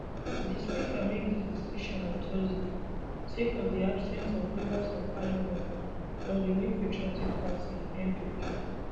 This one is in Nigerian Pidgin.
di speaker make dis decision on thursday sake of di absence of members of parliament from di new patriotic party npp